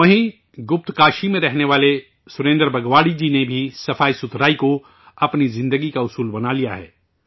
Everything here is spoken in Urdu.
وہیں گپت کاشی میں رہنے والے سریندر بگواڑی جی نے بھی سوچھتا کو اپنی زندگی کا منتر بنا لیا ہے